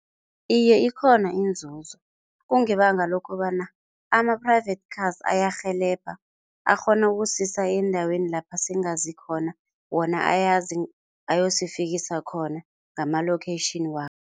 Iye, ikhona inzuzo kungebanga lokobana ama-private cars ayarhelebha akghona ukusisa endaweni lapha singazikhona wona ayazi, ayosifikisa khona ngama-location